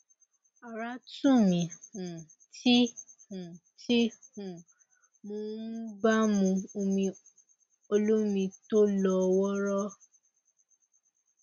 ara tù mí um tí um tí um mo um bá mu omi olómi tó lọ wọọrọ